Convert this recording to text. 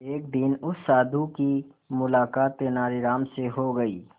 एक दिन उस साधु की मुलाकात तेनालीराम से हो गई